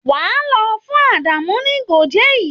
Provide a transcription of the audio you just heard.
Wàá lọ fún Àdàmú́ ní Goje yìí!